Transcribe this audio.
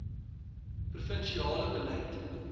provin siale beleid